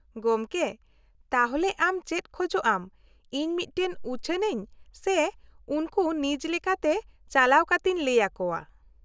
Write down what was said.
-ᱜᱚᱢᱠᱮ, ᱛᱟᱦᱞᱮ ᱟᱢ ᱪᱮᱫ ᱠᱷᱚᱡᱚᱜ ᱟᱢ ᱤᱧ ᱢᱤᱫᱴᱟᱝ ᱩᱪᱷᱟᱹᱱ ᱟᱹᱧ ᱥᱮ ᱩᱱᱠᱩ ᱱᱤᱡ ᱞᱮᱠᱟᱛᱮ ᱪᱟᱞᱟᱣ ᱠᱟᱛᱮᱧ ᱞᱟᱹᱭ ᱟᱠᱚᱣᱟ ᱾